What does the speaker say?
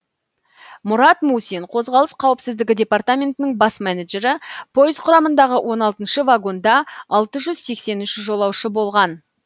мұрат мусин қозғалыс қауіпсіздігі департаментінің бас менеджері пойыз құрамындағы он алтыншы вагонда алты жүз сексен үш жолаушы болған